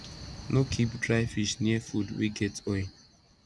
no keep dry fish near food wey get oil